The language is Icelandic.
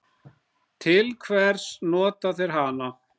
Til hvers nota þeir hana?